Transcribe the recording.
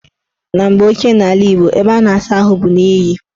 Na mgbe ochie n' ala Igbo, ebe a na-asa ahụ bụ n' iyi.